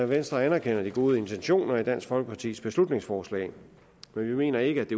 venstre anerkender de gode intentioner i dansk folkepartis beslutningsforslag men vi mener ikke at